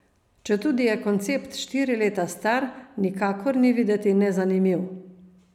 Četudi je koncept štiri leta star, nikakor ni videti nezanimiv.